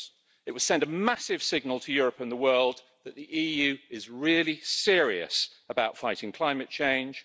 It would send a massive signal to Europe and the world that the EU is really serious about fighting climate change.